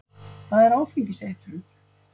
Hvað er áfengiseitrun?